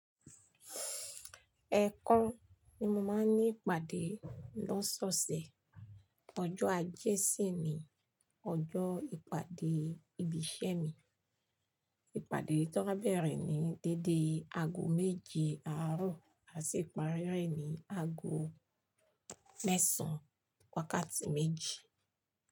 Ẹ̀ẹ̀kan ni mo máa ń ní ìpàdé lọ́sọ̀ọ̀sẹ̀. Ọjọ́ ajé sí ì ni ọjọ́ ìpàdé ibi iṣẹ́ mi. Ìpàdé tó rá bẹ̀rẹ̀ ní dédé aago méje àárọ̀, à sì parí rẹ̀ ní aago mẹ́sàn-án wákátí méjì.